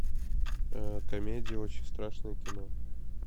комедия очень страшное кино